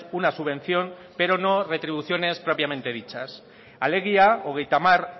una subvención pero no retribuciones propiamente dichas alegia hogeita hamar